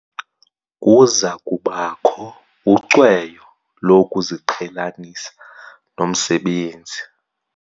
Kuza kubakho ucweyo lokuziqhelanisa nomsebenzi.